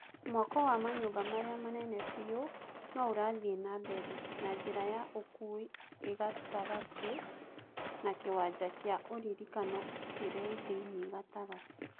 Mwako wa manyũmba marĩa manene biũ no ũrathie na mbere, na njĩra ya ũkuui ĩgatagatĩ na kĩwanja kĩa ũririkano kĩrĩthĩinĩ gatagatĩ